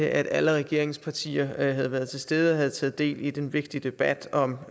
at alle regeringspartier havde været tilstede og havde taget del i den vigtige debat om